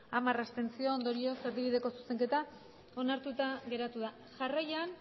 hamar abstentzio ondorioz erdibideko zuzenketa onartuta geratu da jarraian